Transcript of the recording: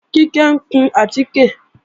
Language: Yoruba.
Kíkẹ́ ń kun àtíkè